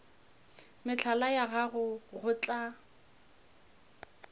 mehlala ya gago go tla